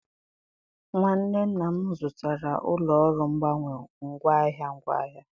nwanne nna m zụtara ụlọ ọrụ mgbanwe ngwaahịa ngwaahịa.